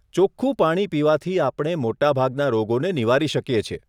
ચોખ્ખું પાણી પીવાથી આપણે મોટાભાગના રોગોને નિવારી શકીએ છીએ.